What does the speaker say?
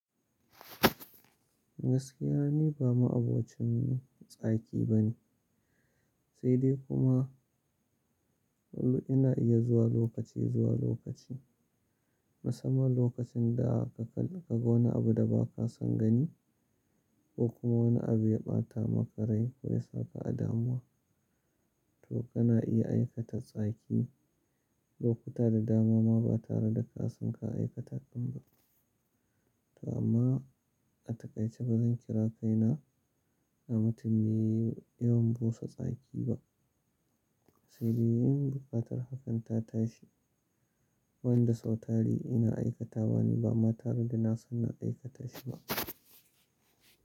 Gaskiya ne ba ma abocin tsaki ba ne, sai dai kuma lullu ina iya zuwa lokaci zuwa lokaci. Musamman lokacin da ka kalli ka ga wani abu da ba ka son gani ko kuma wani abu ya ɓata maka rai ko ya sa ka a damuwa. To kana iya aikata tsaki lokuta da dama ma ba tare da ka san ka aikata ɗin ba. To amma a takaice ba zan kira kaina na mutum mai yawan busa tsaki ba. Sai dai in buƙatar hakan ta tashi, wanda sau tari ina aikata wa ne ba ma tare da na san na aikata shi ba.